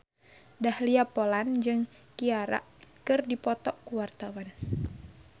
Dahlia Poland jeung Ciara keur dipoto ku wartawan